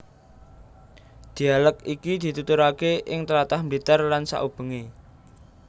Dhialèk iki dituturake ing tlatah Blitar lan saubengé